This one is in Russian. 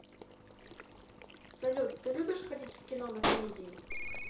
салют ты любишь ходить в кино на комедии